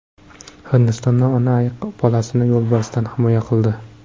Hindistonda ona ayiq bolasini yo‘lbarsdan himoya qildi.